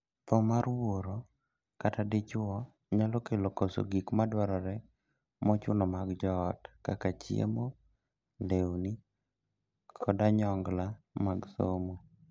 Thoo mar wuoro kata dichwo nyalo kelo koso gik madwarore mochuno mag joot kaka chiemo, lewni, kod onyongla mag somo.